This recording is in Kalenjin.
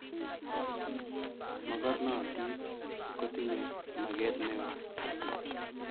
Mokornontit kotinye maket neo